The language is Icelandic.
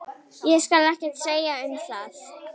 Ég skal ekkert segja um það.